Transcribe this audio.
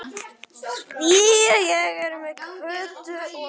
Því ég er með Kötu og